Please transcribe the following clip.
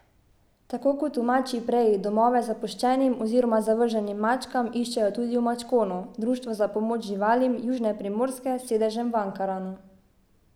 Tako kot v Mačji preji domove zapuščenim oziroma zavrženim mačkam iščejo tudi v Mačkonu, društvu za pomoč živalim južne Primorske s sedežem v Ankaranu.